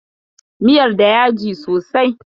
Miyar da yaji sosai?